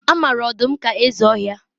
A mara ọdụm ka eze ọhịa